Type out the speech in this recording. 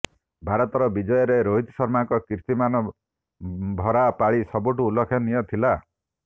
ଭାରତର ବିଜୟରେ ରୋହିତ ଶର୍ମାଙ୍କ କୀର୍ତ୍ତିମାନ ଭରା ପାଳି ସବୁଠୁ ଉଲ୍ଲେଖନୀୟ ଥିଲା